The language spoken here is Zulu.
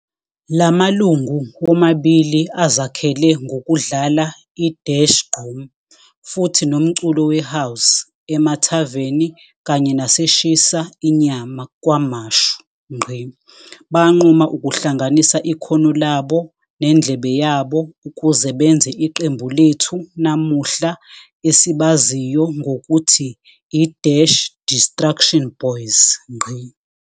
Lamalungu womabili azakhele ngokudlala i-gqom futhi nomculo we House ema Tavern kanye nase Shisa inyama KwaMashu. Banquma ukuhlanganisa ikhono labo nendlebe yabo ukuze benze iqembu lethu namuhla esibaziyo ngokuthi i-Distruction Boyz.